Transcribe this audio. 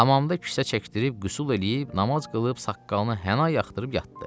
Hamamda kisə çəkdirib qüsl eləyib namaz qılıb saqqalına həna yaxdırıb yatdı.